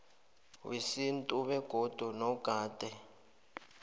wesintu begodu nogade